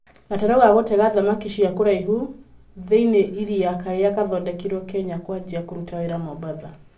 Gatarũ ga gũtega thamaki cia kũraivũ tĩinĩĩ ĩria karĩa kathodekĩirwo Kenya kũajia kũruta wĩra Mombatha.